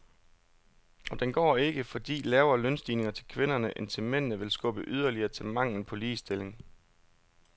Og den går ikke, fordi lavere lønstigninger til kvinderne end til mændene vil skubbe yderligere til manglen på ligestilling.